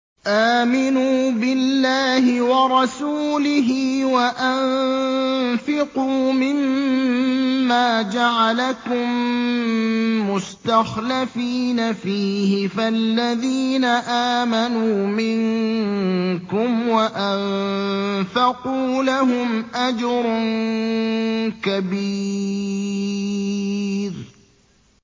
آمِنُوا بِاللَّهِ وَرَسُولِهِ وَأَنفِقُوا مِمَّا جَعَلَكُم مُّسْتَخْلَفِينَ فِيهِ ۖ فَالَّذِينَ آمَنُوا مِنكُمْ وَأَنفَقُوا لَهُمْ أَجْرٌ كَبِيرٌ